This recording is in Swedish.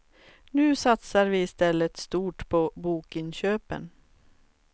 Nu satsar vi istället stort på bokinköpen.